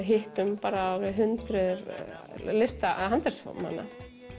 hittum hundruð handverksmanna